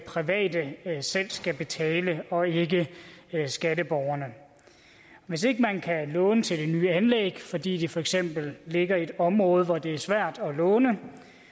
private selv skal betale og ikke skatteborgerne hvis ikke man kan låne til det nye anlæg fordi det for eksempel ligger i et område hvor det er svært at låne